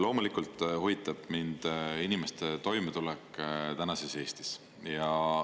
Loomulikult huvitab mind inimeste toimetulek tänases Eestis.